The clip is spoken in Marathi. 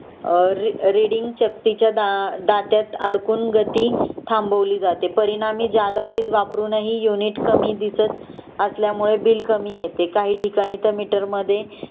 अ रीडिंग चकतीच्या दा दात्यात अडकून गती थांबवली जाते परिणामी जादा वीज वापरूनही यूनिट कामी दिसत असल्यामुळे बिल कामी येते काही ठिकाणी मिटर मध्ये